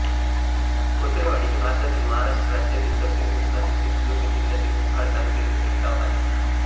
खोचरेवाडी हे भारतातील महाराष्ट्र राज्यातील दक्षिण कोकणातील सिंधुदुर्ग जिल्ह्यातील कुडाळ तालुक्यातील एक गाव आहे